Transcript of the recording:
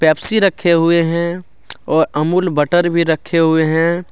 रखे हुए हैं और अमूल बटर भी रखे हुए हैं।